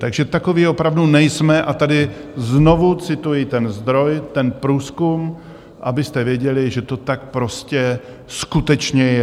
Takže takoví opravdu nejsme a tady znovu cituji ten zdroj, ten průzkum, abyste věděli, že to tak prostě skutečně je.